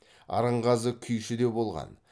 арынғазы күйші де болған